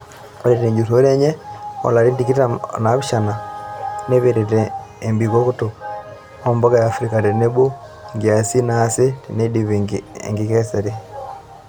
Ore tenjurore enye olarin tikitam onapishana neipirta embikoto ompuka eafirika tenebo nkiasin naasi teneidipi enkikesre.